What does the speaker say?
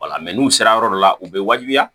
Wala n'u sera yɔrɔ dɔ la u bɛ wajibiya